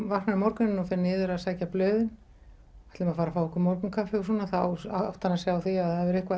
vaknar um morguninn og fer niður að sækja blöðin ætluðum að fara að fá okkur morgunkaffi og svona þá áttar hann sig á því að það hefur eitthvað